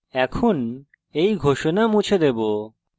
এখন আমরা এই ঘোষণা মুছে দেবো